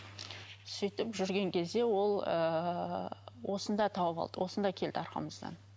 сөйтіп жүрген кезде ол ыыы осында тауып алды осында келді артымыздан